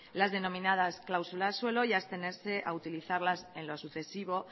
las denominadas cláusulas suelo y abstenerse a utilizarlas en lo sucesivo